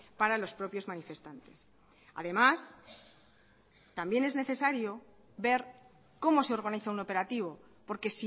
para los propios manifestantes además también es necesario ver cómo se organiza un operativo porque